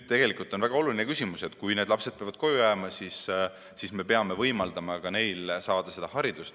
Tegelikult on väga oluline küsimus see, et kui lapsed peavad koju jääma, siis me peame võimaldama neil saada haridust.